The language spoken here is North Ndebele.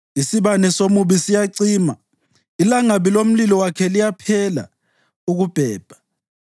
Isibane somubi siyacima; ilangabi lomlilo wakhe liyaphela ukubhebha.